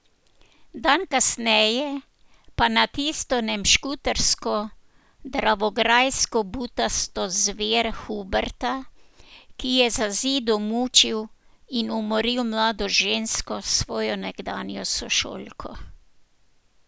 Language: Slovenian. Dan kasneje pa na tisto nemškutarsko dravograjsko butasto zver Huberta, ki je za zidom mučil in umoril mlado žensko, svojo nekdanjo sošolko.